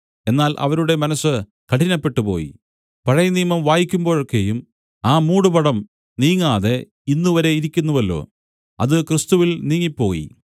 എന്നാൽ അവരുടെ മനസ്സ് കഠിനപ്പെട്ടുപോയി പഴയനിയമം വായിക്കുമ്പോഴൊക്കെയും ആ മൂടുപടം നീങ്ങാതെ ഇന്നുവരെ ഇരിക്കുന്നുവല്ലോ അത് ക്രിസ്തുവിൽ നീങ്ങിപ്പോയി